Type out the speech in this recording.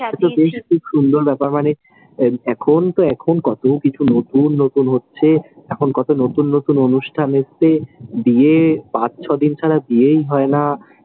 খুব সুন্দর ব্যাপার। মানে এখন তো এখন কতো কিছু নতুন নতুন হচ্ছে, এখন কতো নতুন নতুন অনুষ্ঠান এসেছে, বিয়ে পাঁচ ছ দিন ছাড়া বিয়েই হয়ে না, চার দিন,